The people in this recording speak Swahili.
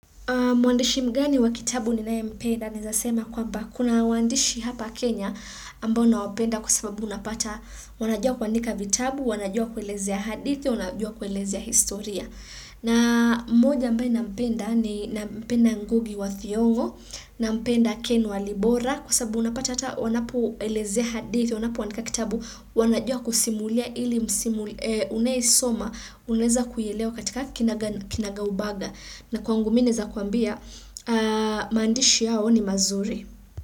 Mwandishi mgani wa kitabu ninaye mpenda naezasema kwamba kuna waandishi hapa Kenya aambao nawapenda kwa sababu unapata wanajua kuandika vitabu, wanajua kuelezea hadithi, wanajua kuelezea historia. Na mmoja ambaye nampenda ni nampenda Ngugi wa Thiongo, nampenda Ken Walibora kwa sababu unapata hata wanapo elezea hadithi, wanapo andika kitabu, wanajua kusimulia ili unayesoma, unaeza kuielewa katika kinaga kinaga ubaga. Na kwangu mi naeza kuambia, maandishi yao ni mazuri.